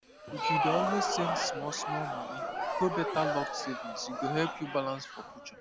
if you dey always send small small money go better locked savings e go help you balance for future